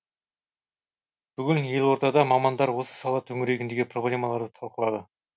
бүгін елордада мамандар осы сала төңірегіндегі проблемаларды талқылады